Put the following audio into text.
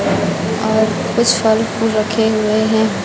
और कुछ फल फूल रखे हुए हैं।